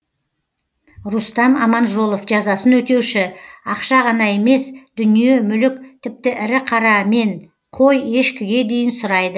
рустам аманжолов жазасын өтеуші ақша ғана емес дүние мүлік тіпті ірі қара мен қой ешкіге дейін сұрайды